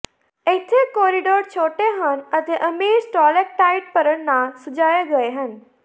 ਇੱਥੇ ਕੋਰੀਡੋਰ ਛੋਟੇ ਹਨ ਅਤੇ ਅਮੀਰ ਸਟਾਲੈਕਟਾਈਟ ਭਰਨ ਨਾਲ ਸਜਾਏ ਗਏ ਹਨ